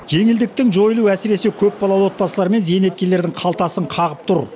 жеңілдіктің жойылуы әсіресе көпбалалы отбасылар мен зейнеткерлердің қалтасын қағып тұр